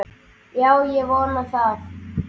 Já, ég vona það.